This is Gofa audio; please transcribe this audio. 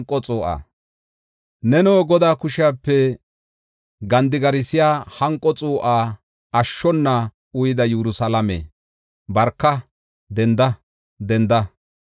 Neno, Godaa kushepe gandigarsiya hanqo xuu7aa ashshona uyida Yerusalaame, barka! Denda! Denda.